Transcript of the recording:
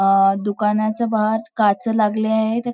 अं दुकानाचा बाहेर काच लागले आहेत.